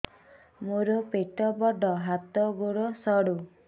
ମୋର ପେଟ ବଡ ହାତ ଗୋଡ ସରୁ